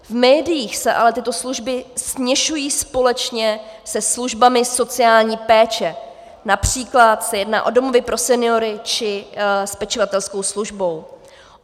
V médiích se ale tyto služby směšují společně se službami sociální péče, například se jedná o domovy pro seniory či s pečovatelskou službou.